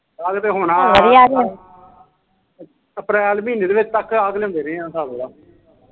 ਅਪ੍ਰੈਲ ਮਹੀਨੇ ਦੇ ਅੰਤ ਤੱਕ ਹੋਣਾ ਹਿਸਾਬ ਲਾਲਾ ਜਿਹੜਾ ਪਿਛਲਾ ਮਹੀਨਾ ਲੰਘ ਕੇ ਗਿਆ